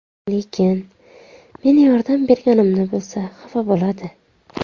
Lekin meni yordam berganimni bilsa, xafa bo‘ladi.